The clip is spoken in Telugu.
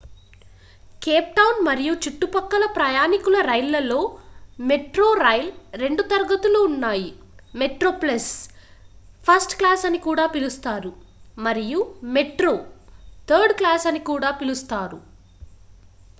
కేప్ టౌన్ మరియు చుట్టుపక్కల ప్రయాణికుల రైళ్ళలో మెట్రోరైల్ రెండు తరగతులు ఉన్నాయి మెట్రోప్లస్ ఫస్ట్ క్లాస్ అని కూడా పిలుస్తారు మరియు మెట్రో థర్డ్ క్లాస్ అని పిలుస్తారు